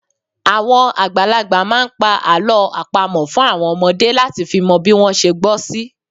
Àwọn àgbàlagbà máa ń pa àlọ́ àpamọ̀ fún àwọn ọmọdé láti fi mọ bí wọ́n ṣe gbọ́ sí